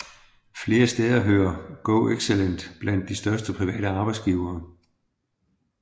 Flere steder hører GoExcellent blandt de største private arbejdsgivere